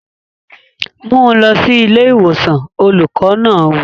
Mú un lọ sí ilé ìwòsàn! Olùkọ́ náà wí.